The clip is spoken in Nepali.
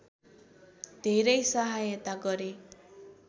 धेरै सहायता गरे